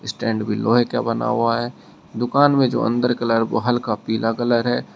Stand भी लोहे का बना हुआ है दुकान में जो अंदर कलर वो हल्का पीला कलर है।